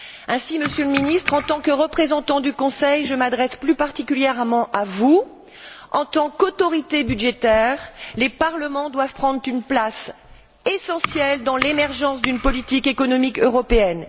Ainsi, Monsieur le Ministre, en tant que représentant du Conseil, je m'adresse plus particulièrement à vous en tant qu'autorités budgétaires, les parlements doivent prendre une place essentielle dans l'émergence d'une politique économique européenne.